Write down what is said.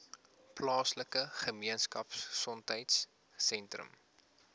plaaslike gemeenskapgesondheid sentrum